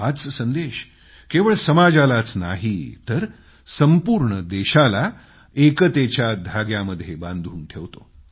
हाच संदेश केवळ समाजालाच नाही तर संपूर्ण देशाला एकतेच्या धाग्यामध्ये बांधून ठेवतो